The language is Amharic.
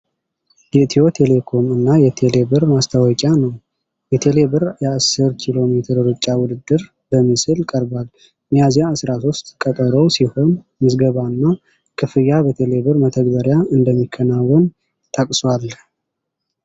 የኢትዮ ቴሌኮም እና የቴሌ ብር ማስታወቂያ ነው። 'የቴሌብር የ10 ኪ.ሜ ሩጫ ውድድር' በምስል ቀርቧል። 'ሚያዝያ 13' ቀጠሮው ሲሆን፣ ምዝገባና ክፍያ በቴሌ ብር መተግበሪያ እንደሚከናወን ጠቅሷል።